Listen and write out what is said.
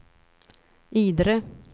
Idre